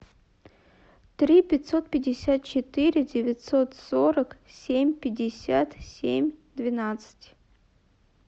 три пятьсот пятьдесят четыре девятьсот сорок семь пятьдесят семь двенадцать